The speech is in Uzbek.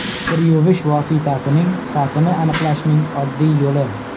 Kir yuvish vositasining sifatini aniqlashning oddiy yo‘li.